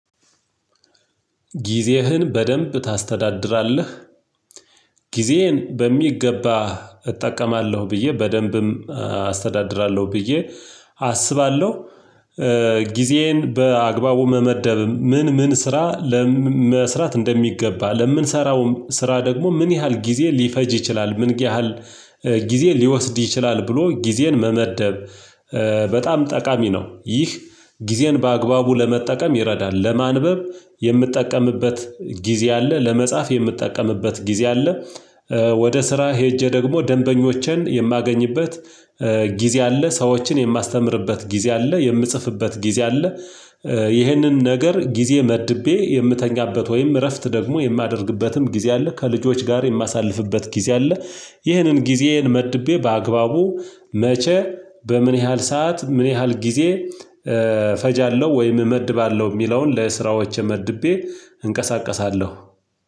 ጊዜህን በደንብ ታስተዳድራለህ? ጊዜየን በሚገባ እጠቀማለሁ ብዬ በደንብም አስተዳድራለሁ ብዬ አስባለሁ። ጊዜዬን በአግባቡ መመደብም ምን ምን ስራ መስራት እንደሚገባ ለእምንሰራውም ስራ ደግሞ ምን ያህል ጊዜ ሊፈጅ ይችላል ምን ያህል ጊዜ ሊወስድ ይችላል ብሎ ጊዜን መመደብ በጣም ጠቃሚ ነው። ይህ ጊዜን በአግባቡ ለመጠቀም ይረዳል ለማንበብ የምጠቀምበት ጊዜ አለ ለመጻፍ የምጠቀምበት ጊዜ አለ። ወደ ስራ ሄጄ ደግሞ ደንበኞቼን የማገኝበት ጊዜ አለ ሰዎችን የማስተምርበት ጊዜ አለ የምጽፍበት ጊዜ አለ። ይህንን ነገር ጊዜ መድቤ የምተኛበት ወይም እረፍት ደግሞ የማደርግበትም ጊዜ አለ ከልጆች ጋር የማሳልፍበት ጊዜ አለ። ይህንን ጊዜዬን መድቤ በአግባቡ መቼ በምን ያህል ሰዓት ምን ያህል ጊዜ እፈጃለሁ ወይም እመድባለሁ የሚለውን ለስራዎቼ መድቤ እንቀሳቀሳለሁ